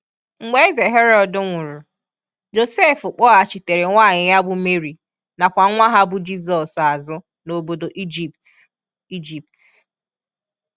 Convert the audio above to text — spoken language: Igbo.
Mgbe eze Herod nwụrụ, Josef kpọghachitere nwanyị ya bụ Mary na kwa nwa ha bụ Jizọs azụ n'obodo Egypt (ijipt).